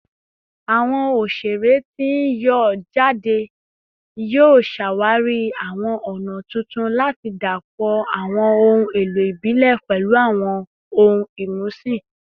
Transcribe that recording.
Awọn oṣere ti n yọ jade yoo ṣawari awọn ọna tuntun lati dapọ awọn ohun elo ibile pẹlu awọn ohun imusin